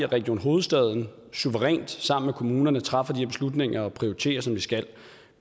region hovedstaden suverænt sammen med kommunerne træffer de her slutninger og prioriterer som de skal